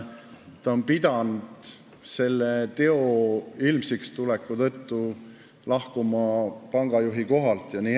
Ta on pidanud selle teo ilmsiks tuleku tõttu lahkuma pangajuhi kohalt.